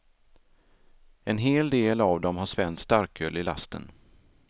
En hel del av dem har svenskt starköl i lasten.